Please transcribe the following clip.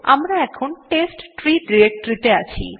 আমরা এখন test tree directory তে আছি